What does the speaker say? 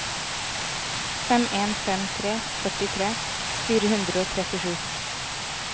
fem en fem tre førtitre fire hundre og trettisju